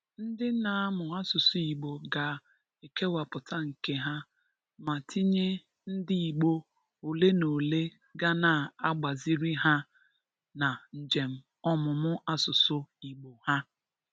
Ndị na-amụ asụsụ Igbo ga-ekewapụta nke ha, ma tinye ndị Igbo olenaole ga na-agbaziri ha na njem ọmụmụ asụsụ Igbo ha.